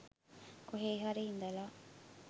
කොහේ හරි ඉඳලා